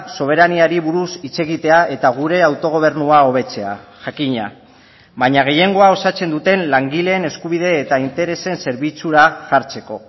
soberaniari buruz hitz egitea eta gure autogobernua hobetzea jakina baina gehiengoa osatzen duten langileen eskubide eta interesen zerbitzura jartzeko